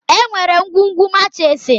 Enwere ngwugwu machiisi.